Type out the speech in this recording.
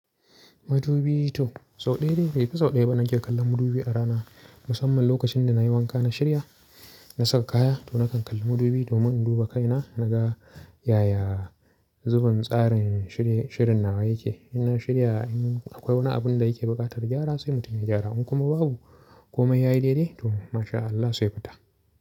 Madubi to sau ɗaya dai, bai fi sau ɗaya ba nake kallon madubi a rana. Musam man lokacin da nayi wanka na shirya na saka kaya to na kan kalli madubi domin induba kaina naga yaya zubin tsarin shirin nawa yake. In na shirya in akwai wani abun da yake buƙatar gyara sai mutum ya gyara. Inkuma babu komai. Yayi daidai to masha Allah sai fita.